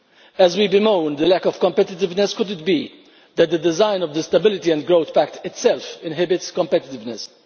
As we bemoan the lack of competitiveness, could it be that the design of the Stability and Growth Pact itself inhibits competitiveness.